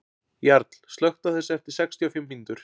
Jarl, slökktu á þessu eftir sextíu og fimm mínútur.